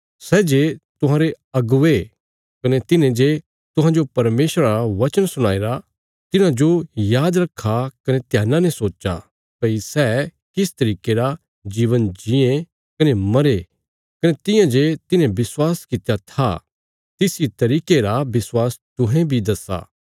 सै जे तुहांरे अगुवे कने तिन्हे जे तुहांजो परमेशरा रा वचन सुणाई रा तिन्हांजो याद रखा कने ध्याना ने सोच्चा भई सै किस तरिके रा जीवन जीये कने मरे कने तियां जे तिन्हे विश्वासा कित्या था तिस इ तरिके रा विश्वास तुहें बी दस्सा